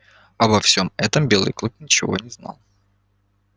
обо всём этом белый клык ничего не знал